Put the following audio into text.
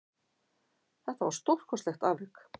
Þetta var stórkostlegt afrek